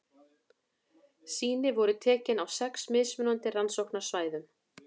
Sýni voru tekin á sex mismunandi rannsóknarsvæðum.